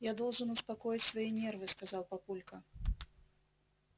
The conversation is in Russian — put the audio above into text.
я должен успокоить свои нервы сказал папулька